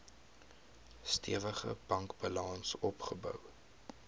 stewige bankbalans opgebou